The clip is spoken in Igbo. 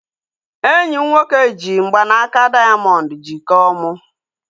Enyi m nwoke ji mgbanaka dayamondu jikọọ mu